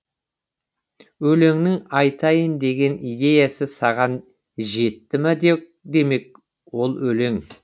өлеңнің айтайын деген идеясы саған жетті ма демек ол өлең